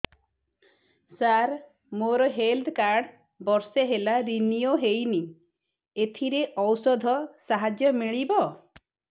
ସାର ମୋର health card ବର୍ଷେ ହେଲା ରିନିଓ ହେଇନି ଏଥିରେ ଔଷଧ ସାହାଯ୍ୟ ମିଳିବ